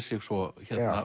sig svo